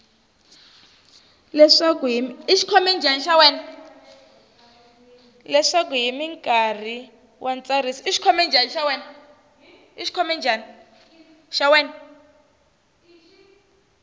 leswaku hi nkarhi wa ntsariso